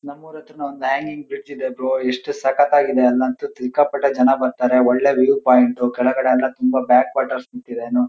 ನಮ್ಮೂರ್ ಹತ್ರ ನು ಒಂದ್ ಹ್ಯಾಂಗಿಂಗ್ ಬ್ರಿಡ್ಜ್ ಇದೆ ಬ್ರೋ ಎಸ್ಟ್ ಸಕ್ಕತಾಗಿದೆ ಸಿಕ್ಕಾಪಟ್ಟೆ ಜನ ಬರ್ತರೆ ಒಳ್ಳೆ ವ್ಯೂ ಪಾಯಿಂಟ್ ಕೆಳಗಡೆ ಎಲ್ಲ ತುಂಬ ಬ್ಯಾಕ್ ವಾಟರ್ಸ್ ನಿಂತಿದೆ--